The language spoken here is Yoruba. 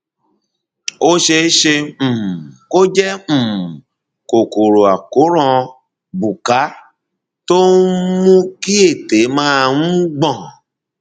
ó ṣeé ṣe um kó jẹ um kòkòrò àkóràn buccal tó ń mú kí ètè máa um gbọn